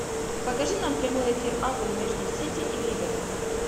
покажи нам прямой эфир апл между сити и ливером